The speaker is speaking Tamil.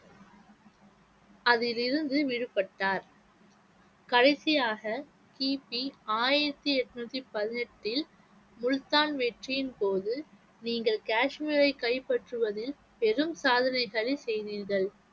அதிலிருந்து விடுபட்டார் கடைசியாக கிபி ஆயிரத்தி எண்ணூத்தி பதினெட்டில் முல்தான் வெற்றியின் போது நீங்கள் காஷ்மீரை கைப்பற்றுவது பெரும் சாதனையை சரி செய்வீர்கள்